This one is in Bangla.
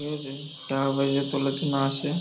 এই যে টাকাপয়সা তোলার জন্য আসে।